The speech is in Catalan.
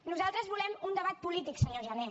nosaltres volem un debat polític senyor jané